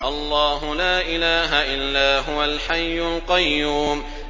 اللَّهُ لَا إِلَٰهَ إِلَّا هُوَ الْحَيُّ الْقَيُّومُ